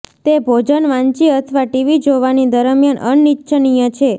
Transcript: તે ભોજન વાંચી અથવા ટીવી જોવાની દરમિયાન અનિચ્છનીય છે